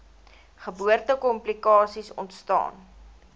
geboorte komplikasies ontstaan